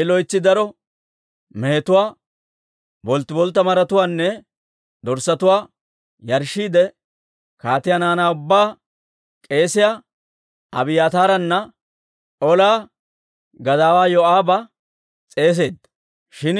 I loytsi daro mehetuwaa, bolttiboltta maratuwaanne dorssatuwaa Yarshshiidde kaatiyaa naanaa ubbaa, k'eesiyaa Abiyaataaranne ola gadaawaa Yoo'aaba s'eeseedda; shin